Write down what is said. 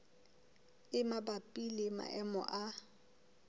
e mabapi le maemo a